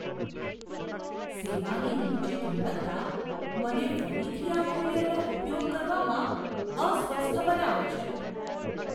સેવાની નીચી ગુણવત્તા મને ફરીથી આ કુરિયરનો ઉપયોગ કરવામાં અસ્વસ્થ બનાવે છે.